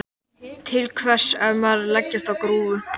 Til hvers á maður að leggjast á grúfu?